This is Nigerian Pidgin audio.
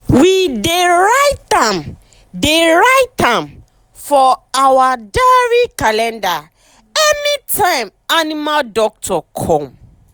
we dey write am dey write am for our diary calendar any time animal doctor come.